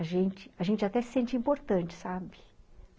A gente até se sente importante, sabe?